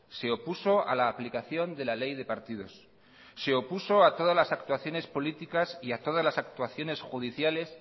se opuso a la aplicación de la ley de partidos se opuso a todas las actuaciones políticas y a todas las actuaciones judiciales